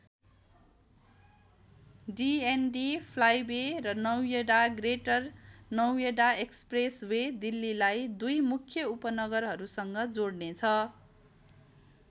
डि N D flyway र Noida greater Noida expressway दिल्लीलाई दुई मुख्य उपनगरहरूसँग जोड्ने छ।